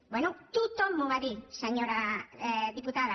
bé tothom m’ho va dir senyora diputada